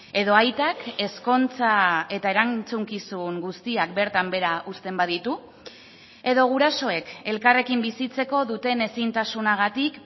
edo aitak ezkontza eta erantzukizun guztiak bertan behera uzten baditu edo gurasoek elkarrekin bizitzeko duten ezintasunagatik